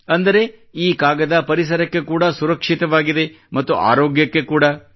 ಅಂದರೆ ಈ ಕಾಗದ ಪರಿಸರಕ್ಕೆ ಕೂಡಾ ಸುರಕ್ಷಿತವಾಗಿದೆ ಮತ್ತು ಆರೋಗ್ಯಕ್ಕೆ ಕೂಡಾ